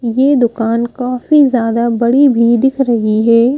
ये दुकान काफी ज्यादा बड़ी भी दिख रही है ।